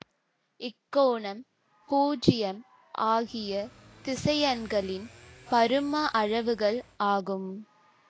இக்கோணம் பூஜ்யம் ஆகிய திசையன்களின் பரும அளவுகள் ஆகும்